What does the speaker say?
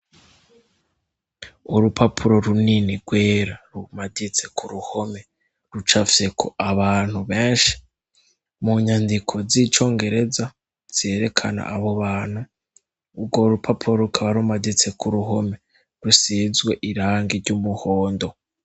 Urupapuro runini rwera rumaditse ku ruhome rucafyeko abantu benshi. Mu nyandiko zicongereza zerekana abo bantu, urwo rupapuro rukaba rumaditse ku ruhome rusizwe irangi ry'umuhondo.